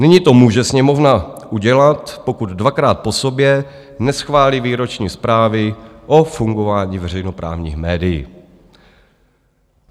Nyní to může Sněmovna udělat, pokud dvakrát po sobě neschválí výroční zprávy o fungování veřejnoprávních médií.